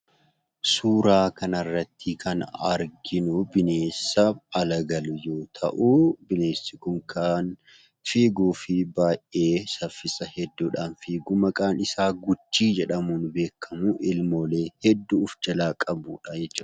Suuraa kan irratti kan arginu bineensa ala galu yoo ta'u, bineensi kun saffisa guddaan kan fiiguufi maqaan isaa "Guchii" jedhamuun beekamuufi ilmoolee hedduu kan of jalaa qabu jechuudha.